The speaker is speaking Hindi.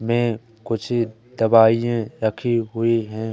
में कुछ दवाईएं रखी हुई हैं।